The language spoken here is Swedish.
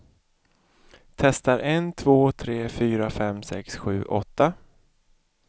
Testar en två tre fyra fem sex sju åtta.